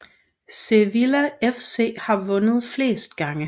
Sevilla FC har vundet flest gange